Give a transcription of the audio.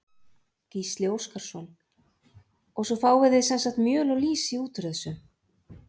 Gísli Óskarsson: Og svo fáið þið sem sagt mjöl og lýsi út úr þessu?